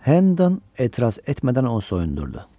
Hendan etiraz etmədən onu soyundurdu.